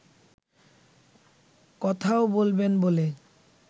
কথাও বলবেন বলে